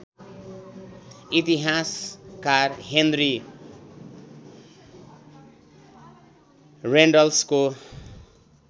इतिहासकार हेनरी रेनल्ड्सको